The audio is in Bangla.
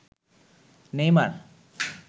নেইমার